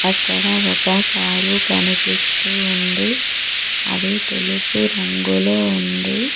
అక్కడ ఒక కారు కనిపిస్తూ ఉంది అది తెలుపు రంగులో ఉంది.